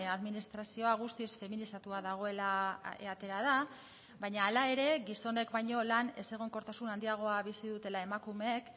administrazioa guztiz feminizatua dagoela atera da baina hala ere gizonek baino lan ezegonkortasun handiagoa bizi dutela emakumeek